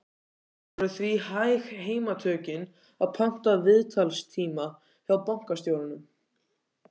Það voru því hæg heimatökin að panta viðtalstíma hjá bankastjóranum.